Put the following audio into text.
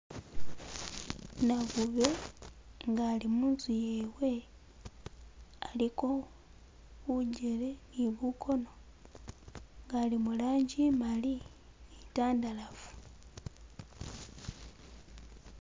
Nakhube nga ali munzu yewe aliko bujele ni bukono nga ali murangi imali ni itandalafu.